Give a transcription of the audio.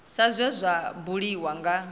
sa zwe zwa buliwa nga